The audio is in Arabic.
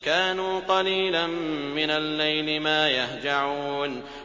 كَانُوا قَلِيلًا مِّنَ اللَّيْلِ مَا يَهْجَعُونَ